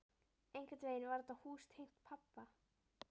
Einhvern veginn var þetta hús tengt pabba.